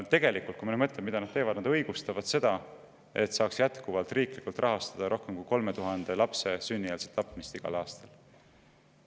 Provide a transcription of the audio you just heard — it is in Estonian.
Aga mõtleme, mida nad teevad: nad õigustavad seda, et jätkuvalt saaks riiklikult rahastada rohkem kui 3000 lapse sünnieelset tapmist igal aastal.